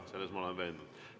Selles ma olen veendunud.